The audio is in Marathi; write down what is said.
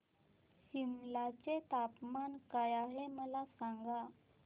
सिमला चे तापमान काय आहे मला सांगा